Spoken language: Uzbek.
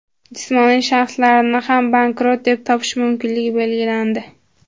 Jismoniy shaxslarni ham bankrot deb topish mumkinligi belgilandi.